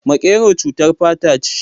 Makero cutar fata ce